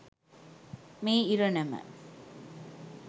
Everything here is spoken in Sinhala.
මේ ඉරණම